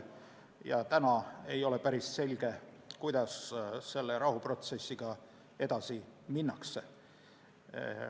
Praeguseks ei ole päris selge, kuidas rahuprotsessiga edasi minnakse.